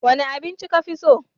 Wane abinci ka fi so?